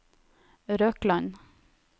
Røkland